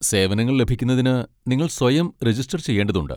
സേവനങ്ങൾ ലഭിക്കുന്നതിന് നിങ്ങൾ സ്വയം രജിസ്റ്റർ ചെയ്യേണ്ടതുണ്ട്.